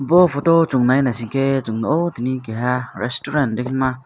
bo photo o chowng nai naisike chung nogo tini keha resturant kotorma.